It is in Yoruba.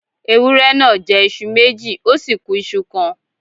Ewúré náà jẹ́ iṣu méjì, ó ku iṣu kan.